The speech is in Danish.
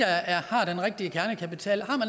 har den rigtige kernekapital